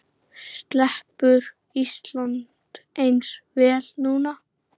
Sleppur Ísland eins vel núna?